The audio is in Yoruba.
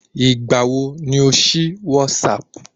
Ìgbà wo ni o sí WhatsApp?